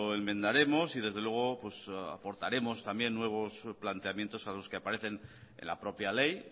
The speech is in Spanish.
enmendaremos y desde luego pues aportaremos también nuevos planteamientos a los que aparecen en la propia ley